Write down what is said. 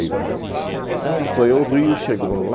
lá. Então ele foi ao Rio, chegou lá.